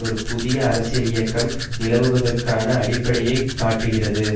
ஒரு புதிய அரசியல் இயக்கம் நிலவுவதற்கான அடிப்படையை காட்டுகிறது